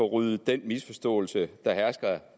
ryddet den misforståelse der hersker